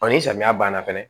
Ɔ ni samiya banna fɛnɛ